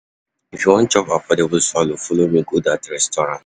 If you wan chop affordable swallow, folo me go dat restaurant.